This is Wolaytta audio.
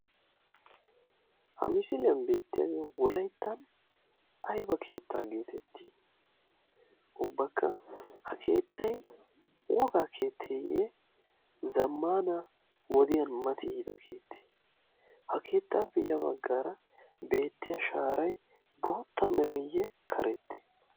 Ha misiiliyan beettiyaage wolayttan ayba keettaa geetettii? Ubbakka ha keettay wogaa keetteeyye zammana wodiyan mati yiida keettee? Ha keettaappe ya baggaara beettiya shaaray bootta mereeyye karette?